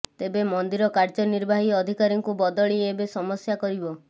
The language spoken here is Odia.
ତେବେ ମନ୍ଦିର କାର୍ଯ୍ୟନିର୍ବାହୀ ଅଧିକାରୀଙ୍କୁ ବଦଳି ଏବେ ସମସ୍ୟା କରିବ